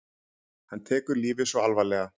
Hann tekur lífið svo alvarlega.